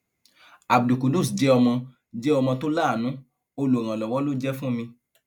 abdulqudus jẹ ọmọ jẹ ọmọ tó láàánú olùrànlọwọ ló jẹ fún mi